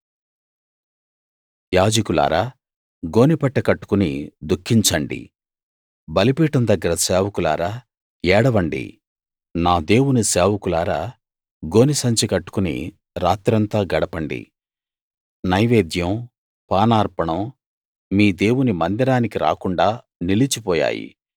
యాజకులారా గోనెపట్ట కట్టుకుని దుఖించండి బలిపీఠం దగ్గర సేవకులారా ఏడవండి నా దేవుని సేవకులారా గోనెసంచి కట్టుకుని రాత్రంతా గడపండి నైవేద్యం పానార్పణం మీ దేవుని మందిరానికి రాకుండా నిలిచిపోయాయి